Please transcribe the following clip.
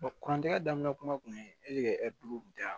kurantigɛ daminɛ kuma tun ye e le ye da